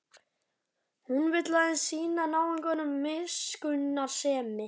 Hún vill aðeins sýna náunganum miskunnsemi.